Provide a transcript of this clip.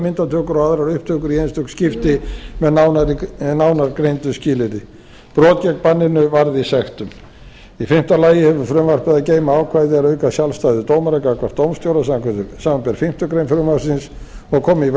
myndatökur og aðrar upptökur í einstök skipti með nánar greindu skilyrði brot gegn banninu varði sektum í fimmta lagi hefur frumvarpið að geyma ákvæði er auka sjálfstæði dómara gagnvart dómstjóra samanber fimmtu grein frumvarpsins og koma í veg